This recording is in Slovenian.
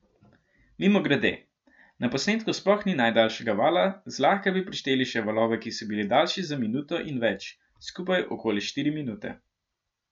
Mimogrede, na posnetku sploh ni najdaljšega vala, zlahka bi prišteli še valove, ki so bili daljši za minuto in več, skupaj okoli štiri minute.